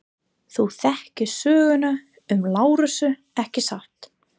Þú þekkir söguna um Lasarus, ekki satt?